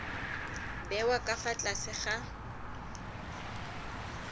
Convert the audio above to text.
bewa ka fa tlase ga